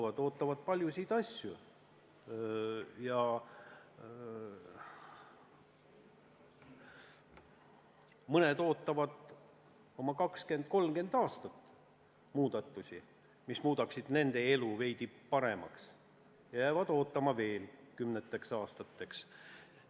Inimesed ootavad paljusid asju, mõned ootavad oma 20–30 aastat muudatusi, mis muudaksid nende elu veidi paremaks, ja jäävad ootama veel kümneteks aastateks.